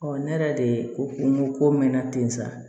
ne yɛrɛ de ko ko n ko ko mɛn na ten sa